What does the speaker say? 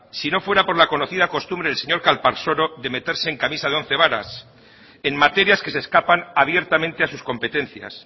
si no fuera por la conocida costumbre del señor calparsoro de meterse en camisa de once varas en materia que se escapan abiertamente a sus competencias